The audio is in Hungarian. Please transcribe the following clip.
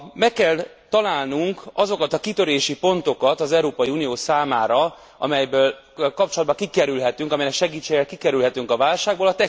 Meg kell találnunk azokat a kitörési pontokat az Európai Unió számára, amellyel kapcsolatban kikerülhetünk, amelynek segítségével kikerülhetünk a válságból.